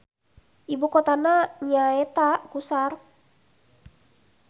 Ibu kotana nyaeta Qusar.